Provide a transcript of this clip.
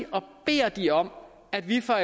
og beder de om at vi fra